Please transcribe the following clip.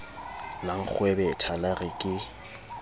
la nkgwebetha la re ke